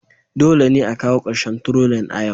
Dole ne a kawo ƙarshen trolling a yau